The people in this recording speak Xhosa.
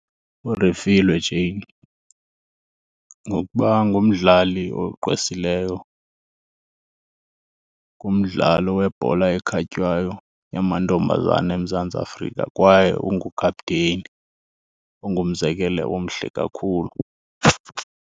URefiloe Jane, ngokuba ngumdlali ogqwesileyo kumdlalo webhola ekhatywayo yamantombazana eMzantsi Afrika kwaye ungukaputeyini ongumzekelo omhle kakhulu.